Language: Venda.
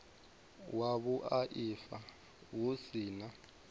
wa vhuaifa hu si na